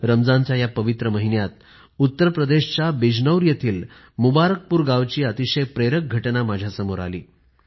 रमजानच्या या पवित्र महिन्यात उत्तर प्रदेशच्या बिजनौर येथील मुबारकपूर गावाची अतिशय प्रेरक घटना माझ्यासमोर आली